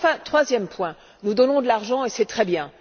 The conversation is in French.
Troisième point, nous donnons de l'argent et c'est très bien.